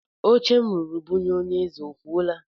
Oche m rụrụ bunye onye eze o fuola?